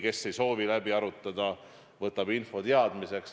Kes ei soovi läbi arutada, võtab info teadmiseks.